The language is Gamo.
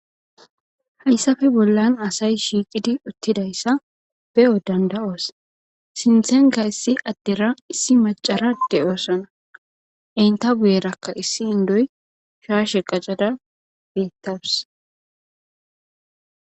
Hayssafe bollan asay shiiqidi uttidayssa be7o danda7oos sinthenka issi addera issi macarade oosana enta buyerakka issi indoy shaashe qacada beettawus.